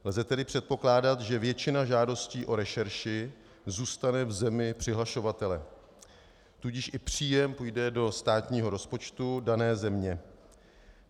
Lze tedy předpokládat, že většina žádostí o rešerši zůstane v zemi přihlašovatele, tudíž i příjem půjde do státního rozpočtu dané země.